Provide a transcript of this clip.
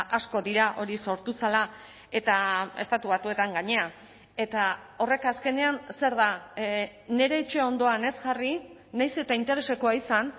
asko dira hori sortu zela eta estatu batuetan gainera eta horrek azkenean zer da nire etxe ondoan ez jarri nahiz eta interesekoa izan